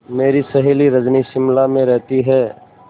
मेरी सहेली रजनी शिमला में रहती है